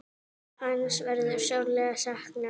Hans verður sárlega saknað.